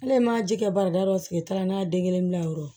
Hali n ma ji kɛ barita dɔw sigi taara n'a ye den kelen bila yɔrɔ ye